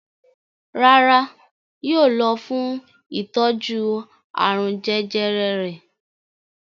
Rárá, yóò lọ fún ìtọ́jú àrùn jẹjẹrẹ rẹ̀.